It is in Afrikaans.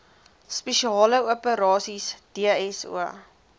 spesiale operasies dso